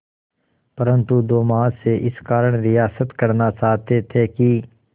परंतु दो महाशय इस कारण रियायत करना चाहते थे कि